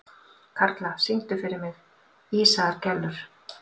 Karla, syngdu fyrir mig „Ísaðar Gellur“.